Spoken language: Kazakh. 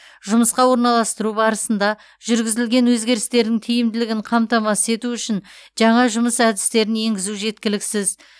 жұмысқа орналастыру барысында жүргізілген өзгерістердің тиімділігін қамтамасыз ету үшін жаңа жұмыс әдістерін енгізу жеткіліксіз